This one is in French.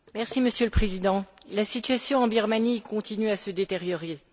Monsieur le Président, la situation en Birmanie continue à se détériorer.